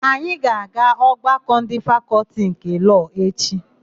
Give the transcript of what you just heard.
Anyị ga-aga ọgbakọ ndị Fakọltị nke Lọọ echi.